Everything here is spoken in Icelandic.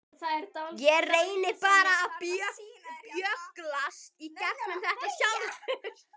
Ég reyni bara að bögglast í gegnum þetta sjálfur.